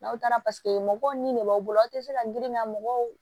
N'aw taara paseke mɔgɔw ni ne b'aw bolo aw tɛ se ka girinna mɔgɔw